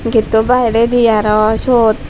gate o bahai redi aaro siyod.